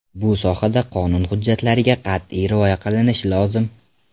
Bu sohada qonun hujjatlariga qat’iy rioya qilinishi lozim.